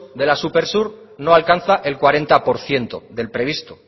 de la supersur no alcanza el cuarenta por ciento del previsto